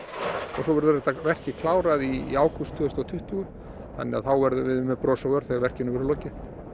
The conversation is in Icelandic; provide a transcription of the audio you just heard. svo verður verkið klárað í ágúst tvö þúsund og tuttugu þá verðum við með bros á vör þegar verkinu er lokið